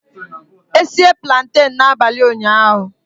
E sie plantain n'abalị ụnyahụ